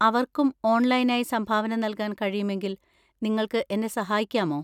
അവർക്കും ഓൺലൈനായി സംഭാവന നൽകാൻ കഴിയുമെങ്കിൽ നിങ്ങൾക്ക് എന്നെ സഹായിക്കാമോ?